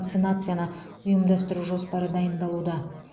вакцинацияны ұйымдастыру жоспары дайындалуда